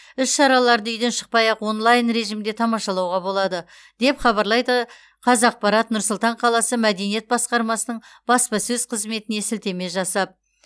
іс шараларды үйден шықпай ақ онлайн режимде тамашалауға болады деп хабарлайды қазақпарат нұр сұлтан қаласы мәдениет басқармасының баспасөз қызметіне сілтеме жасап